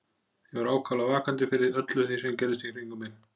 Ég var ákaflega vakandi fyrir öllu því sem gerðist í kringum mig.